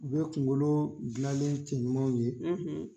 U be kunkolo gilanlen cɛ ɲumanw ye